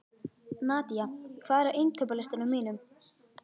Nadia, hvað er á innkaupalistanum mínum?